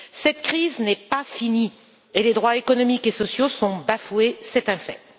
Cette crise n'est pas finie et les droits économiques et sociaux sont bafoués, c'est un fait.